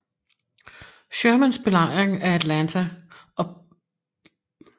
Shermans belejring af Atlanta og begyndte næsten straks i slaget ved Peachtree Creek